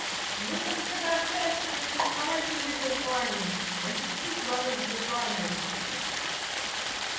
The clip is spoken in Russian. ну так а когда общаешься значит осознавай что мир виртуальный значит и чувство должно быть виртуальным